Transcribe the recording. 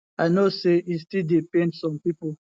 i know say e still dey pain some pipo